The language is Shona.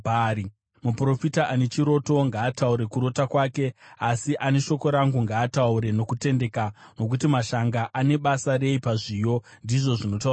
Muprofita ane chiroto ngaataure kurota kwake, asi ane shoko rangu ngaataure nokutendeka. Nokuti mashanga ane basa rei pazviyo?” ndizvo zvinotaura Jehovha.